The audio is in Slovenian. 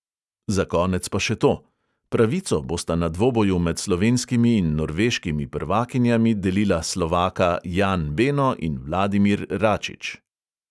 Za konec pa še to: pravico bosta na dvoboju med slovenskimi in norveškimi prvakinjami delila slovaka jan beno in vladimir račič.